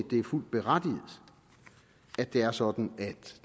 er fuldt berettiget at det er sådan at